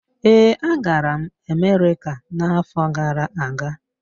Ee, agara m Amerika n'afọ gara aga.